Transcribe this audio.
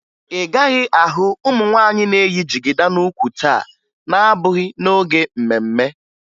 Ị gaghị ahụ ụmụ nwaanyị na-eyi jigida n'ukwu taa na-abụghị n'oge mme mme